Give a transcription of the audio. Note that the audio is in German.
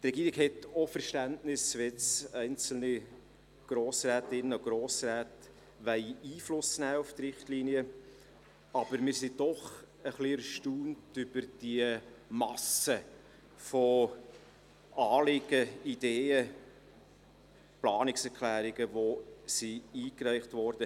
Die Regierung hat auch Verständnis dafür, wenn einzelne Grossrätinnen und Grossräte Einfluss auf die Richtlinien nehmen wollen, aber wir sind doch etwas erstaunt über die Masse an Anliegen und Ideen, an Planungserklärungen, die eingereicht wurden.